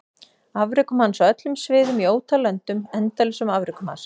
Afrekum hans á öllum sviðum í ótal löndum endalausum afrekum hans?